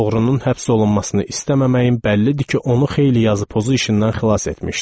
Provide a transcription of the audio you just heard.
Oğrunun həbs olunmasını istəməməyin bəllidir ki, onu xeyli yazı-pozu işindən xilas etmişdi.